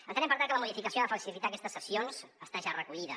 entenem per tant que la modificació que ha de facilitar aquestes cessions està ja recollida